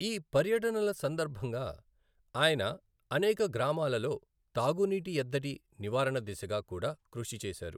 ఈ పర్యటనల సందర్భంగా, ఆయన అనేక గ్రామాలలో తాగునీటి ఎద్దడి నివారణ దిశగా కూడా కృషి చేశారు.